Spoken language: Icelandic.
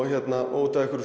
út af einhverju